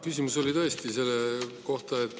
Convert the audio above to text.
Küsimus on tõesti selle kohta.